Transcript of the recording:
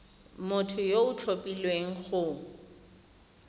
motho yo o tlhophilweng go